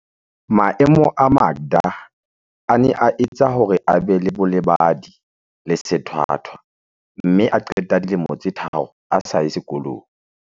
Maemo a Makda a ne a etsa hore a be le bolebadi le sethwa thwa mme a qeta dilemo tse tharo a sa ye sekolong.